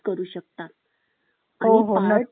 आणि पाळत ठेवणारे